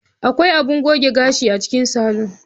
Akwai abun goge gashi a cikin salon.